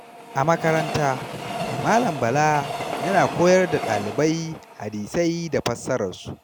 A makaranta, Malam Bala yana koyar da ɗalibai hadisai da fassararsu.